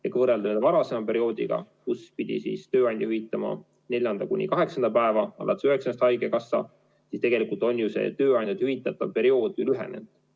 Ja kui võrrelda varasema perioodiga, kus pidi tööandja hüvitama neljanda kuni kaheksanda päeva ja alates üheksandast maksis haigekassa, siis tegelikult on tööandja hüvitatav periood lühenenud.